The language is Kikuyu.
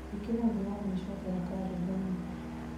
ĩkĩra ũndũ wa gũĩcokera karenda-inĩ